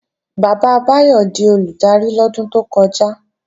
Bàbá Báyọ̀ di Olùdarí lọ́dún tó kọjá